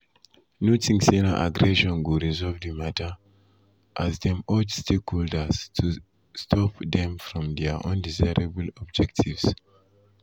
no tink say na aggression go resolve di mata as dem urge stakeholders to stakeholders to stop dem from dia “undesirable objectives.”